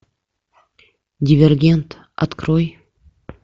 дивергент открой